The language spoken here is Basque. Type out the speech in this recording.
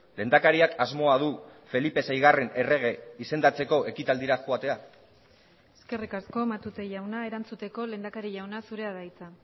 lehendakariak asmoa du felipe seigarren errege izendatzeko ekitaldira joatea eskerrik asko matute jauna erantzuteko lehendakari jauna zurea da hitza